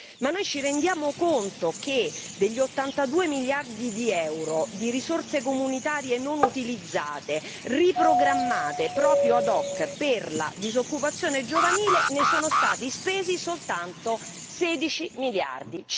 Ma ci rendiamo conto che degli 82 miliardi di euro di risorse comunitarie non utilizzate, riprogrammate proprio ad hoc per la disoccupazione giovanile, ne sono stati spesi soltanto 16 miliardi?